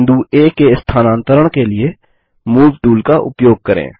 बिंदु आ के स्थानांतरण के लिए मूव टूल का उपयोग करें